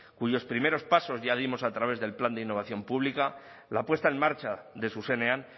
cuyos primeros pasos ya dimos a través del plan de innovación pública la puesta en marcha de zuzenean